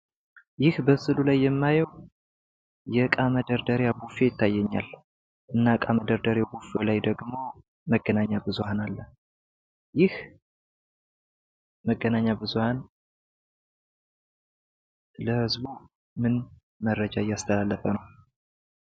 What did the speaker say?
ይህ በምስሉ ላይ የማየው የእቃ መደርደሪያ ቡፌ ይታየኛል ። እና እቃ መደርደሪያ ቡፌው ላይ ደግሞ መገናኛ ብዙሃን ይታያል። ይህ መገናኛ ብዙሃን ለህዝቡ ምን መረጃ እያስተላለፈ ነው?